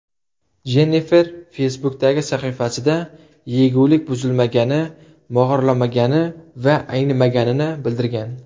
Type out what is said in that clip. Jennifer Facebook’dagi sahifasida yegulik buzilmagani, mog‘orlamagani va aynimaganini bildirgan.